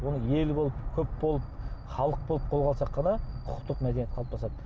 оны ел болып көп болып халық болып қолға алсақ қана құқықтық мәдениет қалыптасады